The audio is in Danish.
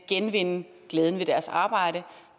genvinde glæden ved deres arbejde